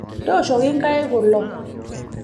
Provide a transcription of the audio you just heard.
tishooki inkaik kulo